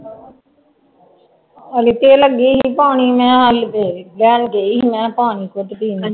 ਹਾਲੇ ਤੇ ਲੱਗੀ ਸੀ ਪਾਣੀ ਮੈਂ ਲੈਣ ਗਈ ਸੀ ਮੈਂ ਪਾਣੀ ਘੁੱਟ ਪੀਣ